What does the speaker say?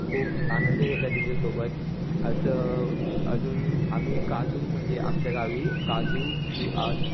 खूप आनंद घेतलाय त्यांच्यासोब असं अजून म्हणजे काजू आमच्या गावी काजू